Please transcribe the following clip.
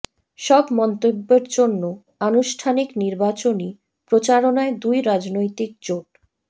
সব মন্তব্যের জন্য আনুষ্ঠানিক নির্বাচনী প্রচারণায় দুই রাজনৈতিক জোট